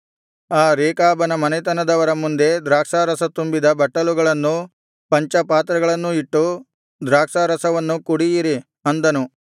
ಆ ರೇಕಾಬನ ಮನೆತನದವರ ಮುಂದೆ ದ್ರಾಕ್ಷಾರಸ ತುಂಬಿದ ಬಟ್ಟಲುಗಳನ್ನೂ ಪಂಚಪಾತ್ರೆಗಳನ್ನೂ ಇಟ್ಟು ದ್ರಾಕ್ಷಾರಸವನ್ನು ಕುಡಿಯಿರಿ ಅಂದನು